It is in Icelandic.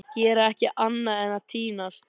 Gera ekki annað en að týnast!